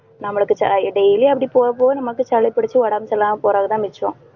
நம்மளுக்கு ச~ daily யும் அப்படி போகப் போக நமக்கு சளி பிடிச்சு உடம்பு சரி இல்லாம போறதுதான் மிச்சம்